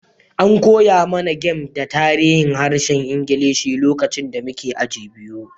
An koya mana game da tarihin harshen Ingilishi lokacin da muke aji biyu.